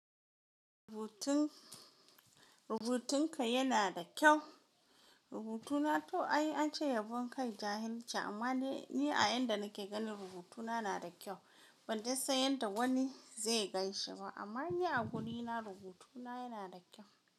Rubutun, rubutun ka yana da kyau? Rubutuna to ai an ce yabon kai jahilci, amma ni a yayin da nake gani rubutuna na da kyau. Ban dai san yadda wani zai ganshi ba, amma ni a gurina rubutuna yana da kyau.